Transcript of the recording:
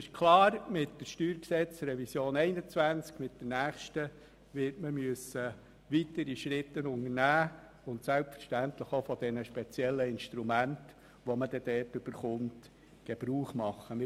Klar ist, dass man mit der nächsten StG-Revision 2021 weitere Schritte unternehmen und selbstverständlich auch von den speziellen Instrumenten Gebrauch machen muss, die man dort erhalten wird.